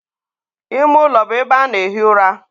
ime ụlọ bụ ebe a na-ehi ụra.